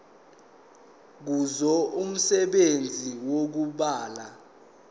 kuzo umsebenzi wokubulala